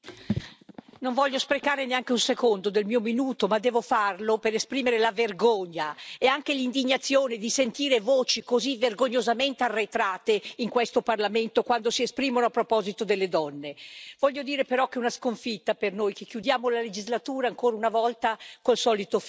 Signor Presidente, onorevoli colleghi, non voglio sprecare neanche un secondo del mio minuto, ma devo farlo per esprimere la vergogna e anche l'indignazione di sentire voci così vergognosamente arretrate in questo Parlamento quando si esprimono a proposito delle donne. Voglio dire, però, che è una sconfitta per noi che chiudiamo la legislatura, ancora una volta, con il solito film.